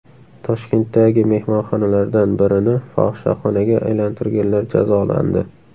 Toshkentdagi mehmonxonalardan birini fohishaxonaga aylantirganlar jazolandi.